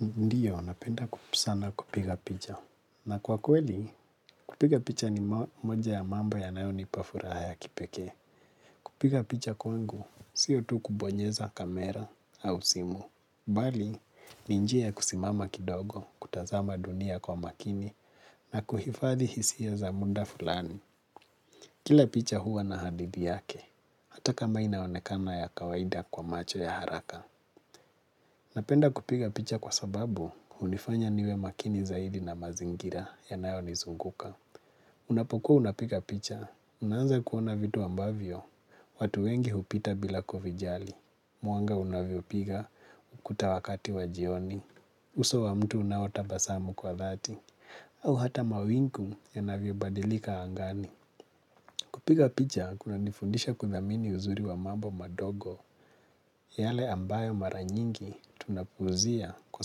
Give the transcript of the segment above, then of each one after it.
Ndiyo, napenda sana kupiga picha. Na kwa kweli, kupiga picha ni moja ya mambo yanayonipa furaha ya kipekee. Kupiga picha kwangu, sio tu kubonyeza kamera au simu. Bali, ni njia ya kusimama kidogo, kutazama dunia kwa makini, na kuhifadhi hisia za muda fulani. Kila picha huwa na hadithi yake, hata kama inaonekana ya kawaida kwa macho ya haraka. Napenda kupiga picha kwa sababu hunifanya niwe makini zaidi na mazingira yanayonizunguka. Unapokuwa unapiga picha, unaanza kuona vitu ambavyo, watu wengi hupita bila kuvijali. Mwanga unavyopiga ukuta wakati wa jioni, uso wa mtu unaotabasamu kwa thati, au hata mawingu yanaviobadilika angani. Kupiga picha kunanifundisha kuthamini uzuri wa mambo madogo yale ambayo mara nyingi tunapuuzia kwa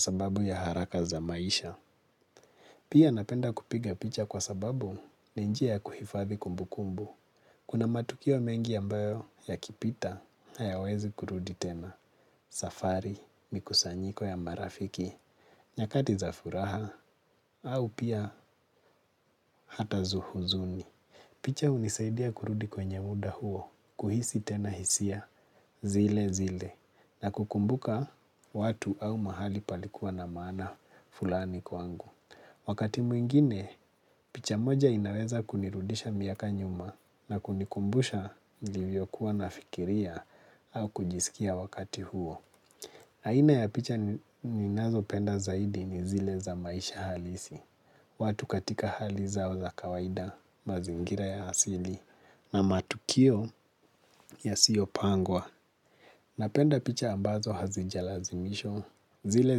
sababu ya haraka za maisha. Pia napenda kupiga picha kwa sababu ni njia ya kuhifathi kumbukumbu. Kuna matukio mengi ambayo yakipita hayawezi kurudi tena, safari, mikusanyiko ya marafiki, nyakati za furaha, au pia hata za huzuni. Picha hunisaidia kurudi kwenye muda huo, kuhisi tena hisia, zile zile, na kukumbuka watu au mahali palikuwa na maana fulani kwangu. Wakati mwingine, picha moja inaweza kunirudisha miaka nyuma na kunikumbusha nilivyokuwa nafikiria au kujisikia wakati huo. Aina ya picha ninazopenda zaidi ni zile za maisha halisi, watu katika hali zao za kawaida, mazingira ya asili, na matukio yasiyopangwa. Napenda picha ambazo hazijalazimishwa, zile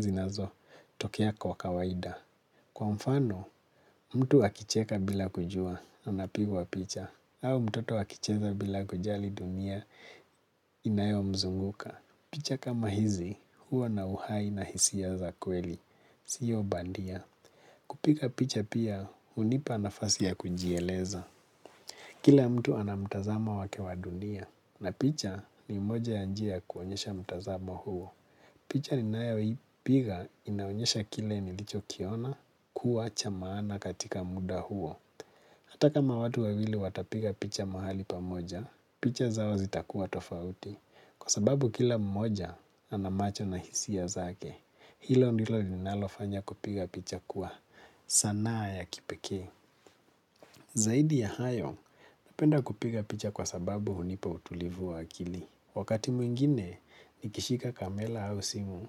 zinazotokea kwa kawaida. Kwa mfano, mtu akicheka bila kujua, anapigwa picha, au mtoto akicheza bila kujali dunia, inayomzunguka. Picha kama hizi, hua na uhai na hisia za kweli, sio bandia. Kupiga picha pia, hunipa nafasi ya kujieleza. Kila mtu ana mtazamo wake wa dunia, na picha ni moja ya njia kuonyesha mtazamo huo. Picha ninayoipiga inaonyesha kile nilichokiona kuwa cha maana katika muda huo. Ata kama watu wawili watapiga picha mahali pamoja, picha zao zitakuwa tofauti. Kuna matukio mengi ambayo yakipita hayawezi kurudi tena, safari, mikusanyiko ya marafiki, nyakati za furaha, au pia hata za huzuni. Picha hunisaidia kurudi kwenye muda huo, kuhisi tena hisia, zile zile, na kukumbuka watu au mahali palikuwa na maana fulani kwangu. Wakati mwingine, nikishika kamera au simu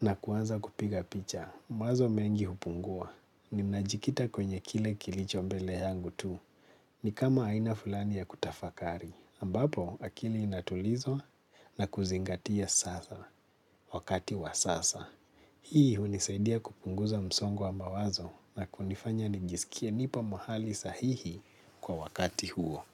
na kuanza kupiga picha. Mawazo mengi hupungua, ninajikita kwenye kile kilicho mbele yangu tu. Ni kama aina fulani ya kutafakari ambapo akili inatulizwa na kuzingatia sasa wakati wa sasa. Hii hunisaidia kupunguza msongo wa mawazo na kunifanya nijiskie nipo mahali sahihi kwa wakati huo.